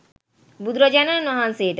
බුදුරජාණන් වහන්සේට